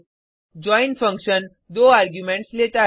join function 2 arguments लेता है